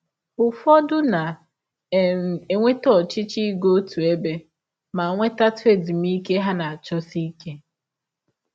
Ụfọdụ na um - enwe ọchịchọ ịga ọtụ ebe ma nwetatụ ezụmịke ha na - achọsi ike.